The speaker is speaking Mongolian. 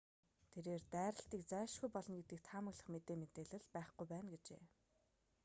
тэрээр дайралтыг зайлшгүй болно гэдгийг таамаглах мэдээ мэдээлэл байхгүй байна гэжээ